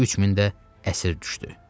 3000 də əsir düşdü.